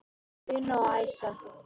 Una og Æsa.